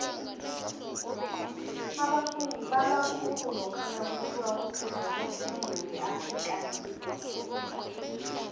abafundi balwa khulu lokha nakuthiwa kufuze bafunde ngeafrikaans